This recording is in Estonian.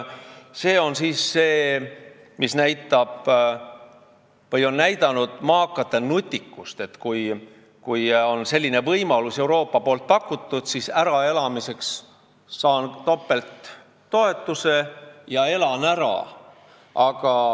See on see, mis näitab maakate nutikust: kui Euroopa on mulle sellise võimaluse pakkunud, siis ma saan topelttoetust ja elan ära.